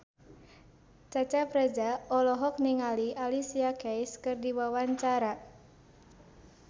Cecep Reza olohok ningali Alicia Keys keur diwawancara